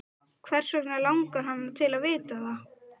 Hvers vegna langar hana til að vita það?